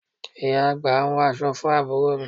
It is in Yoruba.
Ìyá àgbà ń wọ aṣọ fún àbúrò mi